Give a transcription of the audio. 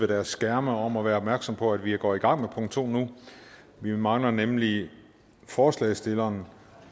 deres skærme om at være opmærksomme på at vi går i gang med punkt to nu vi mangler nemlig forslagsstilleren